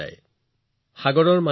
এক দহ শ হাজাৰ আৰু অযুত